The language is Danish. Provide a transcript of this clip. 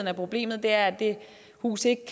er problemet er at huset ikke